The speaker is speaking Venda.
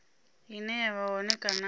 ine ya vha hone kana